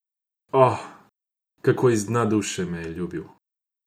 O, kako iz dna duše me je ljubil!